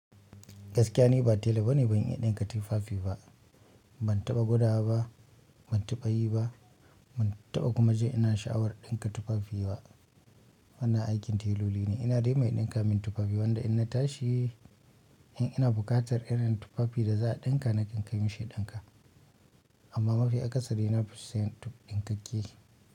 Gaskiya ni ba tela bane ban yi ɗinka tufafi ba, ban taɓa gwada ba, ban taɓa yi ba, ban taɓa kuma ji ina sha'awar ɗinka tufafi ba. Wannan aikin teloli ne. Ina da dai mai dinka mun tufafi. Wanda inna tashi in ina kukatan irin tufafi da za'a dinka nakan kai mashi ya dinka. Amma mafi akasari nafi siyan ɗinkake.